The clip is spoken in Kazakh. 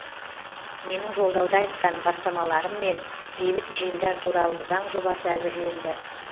менің жолдауда айтқан бастамаларыммен бейбіт жиындар туралы заң жобасы әзірленді